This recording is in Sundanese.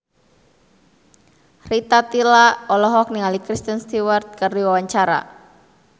Rita Tila olohok ningali Kristen Stewart keur diwawancara